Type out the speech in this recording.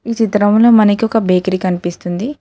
ఈ చిత్రంలో మనకి ఒక బేకరీ కనిపిస్తుంది.